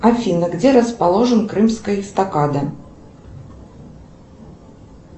афина где расположена крымская эстакада